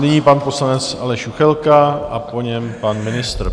Nyní pan poslanec Aleš Juchelka a po něm pan ministr.